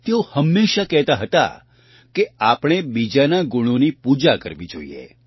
તેઓ હંમેશાં કહેતા હતા કે આપણે બીજાના ગુણોની પૂજા કરવી જોઈએ